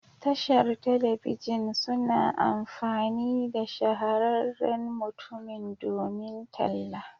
Tashar telebijin suna amfani da shahararren mutumin domin talla.